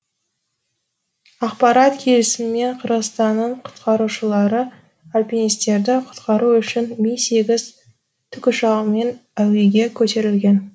ақпарат келісімен қырғызстанның құтқарушылары альпинистерді құтқару үшін ми сегіз тікұшағымен әуеге көтерілген